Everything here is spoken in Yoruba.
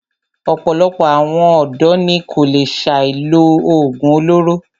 Ọ̀pọ̀lọpọ̀ àwọn ọ̀dọ́ ní kò lè ṣe láì lo oògùn olóró.